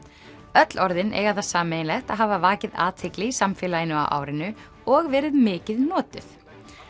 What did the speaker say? öll orðin eiga það sameiginlegt að hafa vakið athygli í samfélaginu á árinu og verið mikið notuð